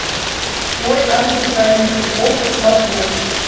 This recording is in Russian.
мой ангел хранитель окко смарт бокс